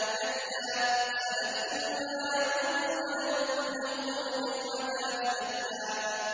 كَلَّا ۚ سَنَكْتُبُ مَا يَقُولُ وَنَمُدُّ لَهُ مِنَ الْعَذَابِ مَدًّا